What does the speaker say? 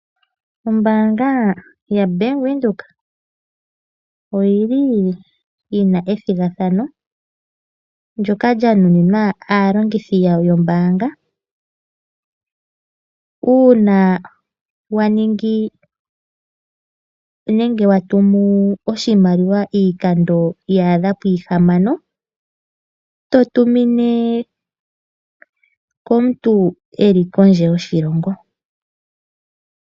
Ombaanga yaVenduka oyili yina ethigathano ndjoka lyanuninwa aalongithi yawo yombaanga uuna watumu oshimaliwa iikando ya adha puhamano uuna watumune omuntu eli kondje yoshilongo.